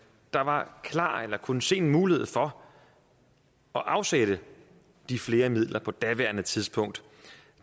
der var klar til eller kunne se en mulighed for at afsætte de flere midler på daværende tidspunkt